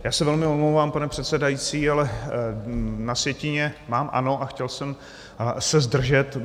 Já se velmi omlouvám pane předsedající, ale na sjetině mám ano a chtěl jsem se zdržet.